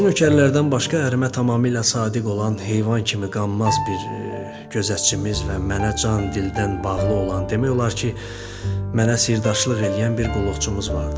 Evdəki nökərlərdən başqa ərimə tamamilə sadiq olan heyvan kimi qanmaz bir gözətçimiz və mənə can-dildən bağlı olan, demək olar ki, mənə sirdaşlıq eləyən bir qulluqçumuz vardı.